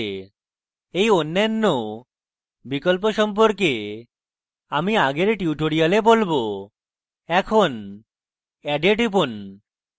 এই অন্যান্য বিকল্প সম্পর্কে আমি আগের tutorials বলবো add এ টিপুন